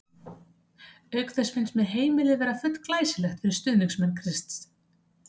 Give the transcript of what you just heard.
Auk þess finnst mér heimilið vera full glæsilegt fyrir stuðningsmenn Krists.